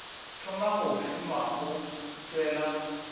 thoma go šoma o tšwela